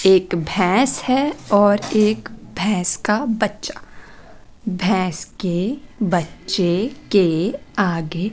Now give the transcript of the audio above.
एक भैंस हैं और एक भैंस का बच्चा भैंस के बच्चे के आगे --